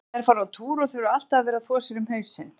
Þær fara á túr og þurfa alltaf að vera að þvo sér um hausinn.